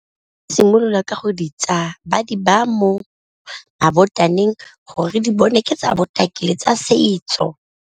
Simololwa ka go di tsaya ba di ba mo mabotaneng gore di bone ke tsa botaki le tsa setso.